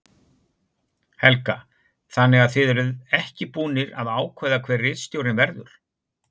Helga: Þannig að þið eruð ekki búnir að ákveða hver ritstjórinn verður?